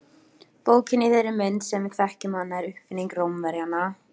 Bókin í þeirri mynd sem við þekkjum hana er uppfinning Rómverjanna.